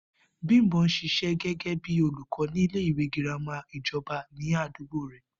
Bímpé ń s̩is̩é̩ gé̩gé̩ bí olùkó̩ ní ilé ìwé girama ìjo̩ba ní àdúgbò rè̩